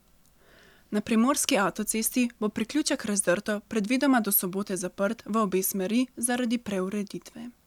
Na primorski avtocesti bo priključek Razdrto predvidoma do sobote zaprt v obe smeri zaradi preureditve.